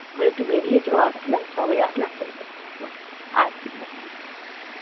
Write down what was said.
ও একটু বেরিয়েছে সবাই আসলে একসাথে খাব